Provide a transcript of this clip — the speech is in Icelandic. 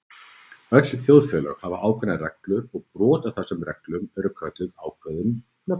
Öll þjóðfélög hafa ákveðnar reglur og brot á þessum reglum eru kölluð ákveðnum nöfnum.